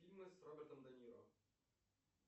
фильмы с робертом де ниро